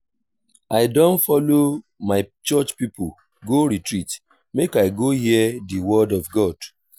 i don folo my church pipo go retreat make i go hear di word of god.